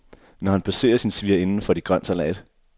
Når han besøger sin svigerinde, får de grøn salat.